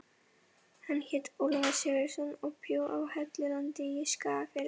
Hann hét Ólafur Sigurðsson og bjó á Hellulandi í Skagafirði.